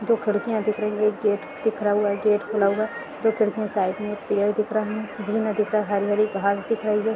दो खिड़कियां दिख रही है एक गेट दिख रा हुआ है गेट खुला हुआ है दो खिड़कियाँ साइड में पेड़ दिख रहा है झील नदी का हरि-हरि घास दिख रही है।